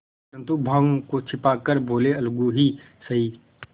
परंतु भावों को छिपा कर बोलेअलगू ही सही